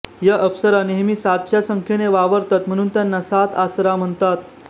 या अप्सरा नेहमी सातच्या संख्येने वावरतात म्हणून त्यांना सात आसरा म्हणतात